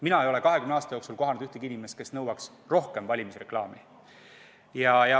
Mina ei ole 20 aasta jooksul kohanud ühtegi inimest, kes nõuaks rohkem valimisreklaami.